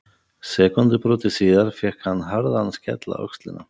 Sekúndubroti síðar fékk hann harðan skell á öxlina.